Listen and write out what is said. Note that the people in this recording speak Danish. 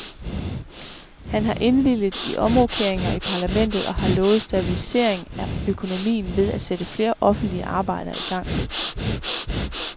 Han har indvilget i omrokeringer i parlamentet og har lovet stabilisering af økonomien ved at sætte flere offentlige arbejder i gang.